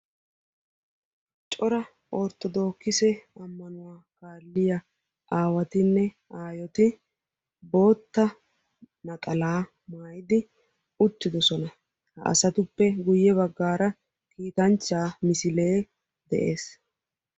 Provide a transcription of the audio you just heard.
cora Orttodokisse ammanuwaa kaaliyaa aawatinne aayyeti naxalaa maayyidi uttidoosona; ha asatuppe guyye baggara kitanchcha misilee de'ees.